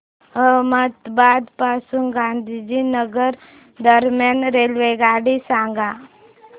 अहमदाबाद पासून गांधीनगर दरम्यान रेल्वेगाडी सांगा